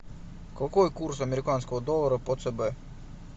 какой курс американского доллара по цб